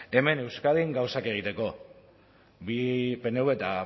hemen euskadin gauzak egiteko bai pnvk eta